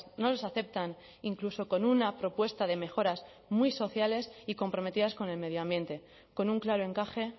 no los aceptan incluso con una propuesta de mejoras muy sociales y comprometidas con el medio ambiente con un claro encaje